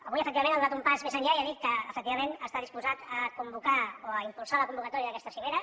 avui efectivament ha donat un pas més enllà i ha dit que efectivament està disposat a convocar o a impulsar la convocatòria d’aquesta cimera